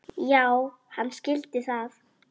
Já, hann skildi það.